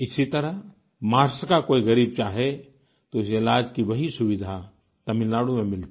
इसी तरह महाराष्ट्र का कोई गरीब चाहे तो उसे इलाज की वही सुविधा तमिलनाडु में मिलती